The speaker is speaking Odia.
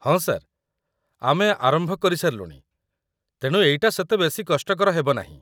ହଁ, ସାର୍, ଆମେ ଆରମ୍ଭ କରିସାରିଲୁଣି ତେଣୁ ଏଇଟା ସେତେ ବେଶି କଷ୍ଟକର ହେବ ନାହିଁ ।